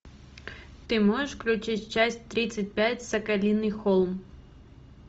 ты можешь включить часть тридцать пять соколиный холм